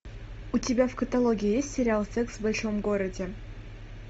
у тебя в каталоге есть сериал секс в большом городе